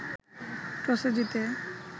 টসে জিতে